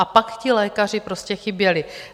A pak ti lékaři prostě chyběli.